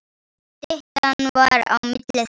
Styttan var á milli þeirra.